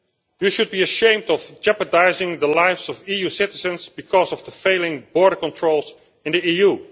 You should be ashamed for jeopardising the lives of EU citizens because of the failing border controls in the EU.